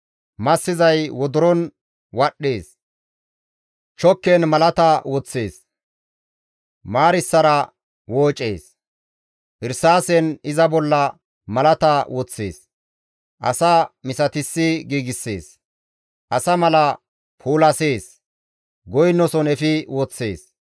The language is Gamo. Massizay wodoron wadhdhees; chokken malata woththees; maarssara woocees; irsaasen iza bolla malata woththees; asa misatissi giigssees; asa mala puulasees; goynoson efi woththees.